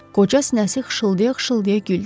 Qoca sinəsi xışıldaya-xışıldaya güldü.